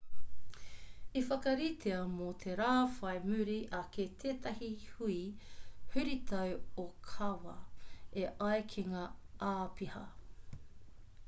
i whakaritea mō te rā whai muri ake tētahi hui huritau ōkawa e ai ki ngā āpiha